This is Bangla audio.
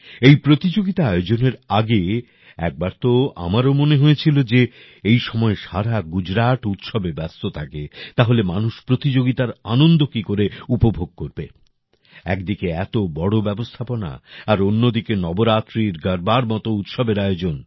এই প্রতিযোগিতা আয়োজনের আগে একবার তো আমারও মনে হয়েছিল যে এই সময় সারা গুজরাট উৎসবে ব্যস্ত থাকে তাহলে মানুষ প্রতিযোগিতার আনন্দ কী করে উপভোগ করবে একদিকে এত বড় ব্যবস্থাপনা আর অন্যদিকে নবরাত্রির গর্বার মতো উৎসবের আয়োজন